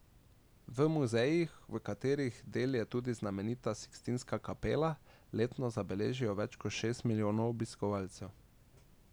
V muzejih, katerih del je tudi znamenita Sikstinska kapela, letno zabeležijo več kot šest milijonov obiskovalcev.